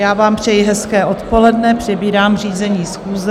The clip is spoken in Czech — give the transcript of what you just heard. Já vám přeji hezké odpoledne, přebírám řízení schůze.